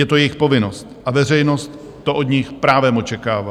Je to jejich povinnost a veřejnost to od nich právem očekává.